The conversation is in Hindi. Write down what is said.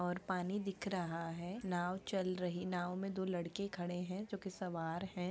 और पानी दिख रहा है नाव चल रही नाव में दो लड़के खड़े है जो कि सवार है।